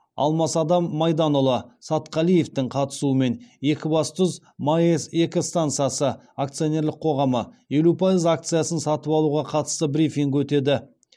алмасадам майданұлы сатқалиевтің қатысуымен екібастұз маэс екі стансасы акционерлік қоғамы елу пайыз акциясын сатып алуға қатысты брифинг өтеді